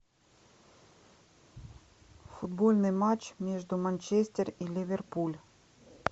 футбольный матч между манчестер и ливерпуль